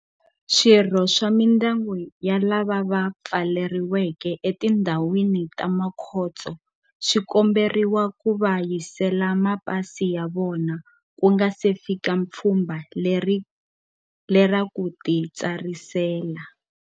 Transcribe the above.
Swirho swa mindyangu ya lava va pfaleriweke etindhawini ta makhotso swi komberiwa ku va yisela mapasi ya vona ku nga si fika pfhumba lera ku titsarisela,